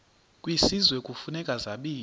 kwisizwe kufuneka zabiwe